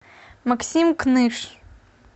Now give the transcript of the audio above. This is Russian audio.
максим кныш